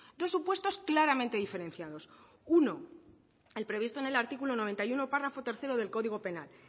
dos supuestos claramente diferenciados uno el previsto en el artículo noventa y uno párrafo tercero del código penal